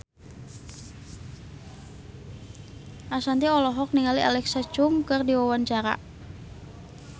Ashanti olohok ningali Alexa Chung keur diwawancara